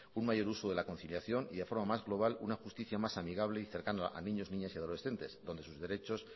un mayor uso de la conciliación y de forma más global una justicia más amigable y cercano a niños niñas y adolescentes donde sus derechos